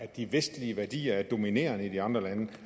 de vestlige værdier er dominerende i de andre lande